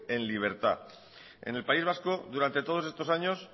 en libertad en el país vasco durante todos estos años